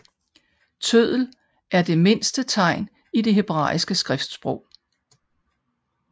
Tøddel er det mindste tegn i det hebraiske skriftsprog